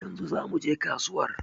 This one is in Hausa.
Yanzu za muje kasuwar